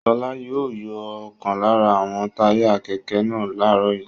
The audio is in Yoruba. Ṣọlá yóò yọ ọ̀kan lára àwọn táyà kẹ̀kẹ́ náà láàárọ̀ yìí.